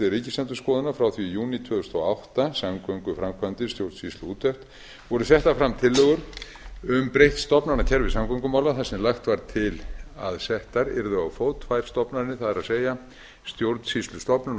stjórnsýsluúttekt ríkisendurskoðunar frá því í júní tvö þúsund og átta samgönguframkvæmdir stjórnsýsluúttekt voru settar fram tillögur um breytt stofnanakerfi samgöngumála þar sem lagt var til að settar yrðu á fót tvær stofnanir það er stjórnsýslustofnun og